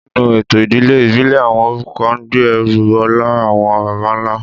Nínú ètò ìdílé ìbílẹ̀, àwọn orúkọ ń gbé ẹrù ọlá àwọn baba ńlá